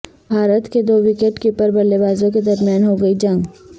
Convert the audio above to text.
بھارت کے دو wicket keeper بلے بازوں کے درمیان ہوگی جنگ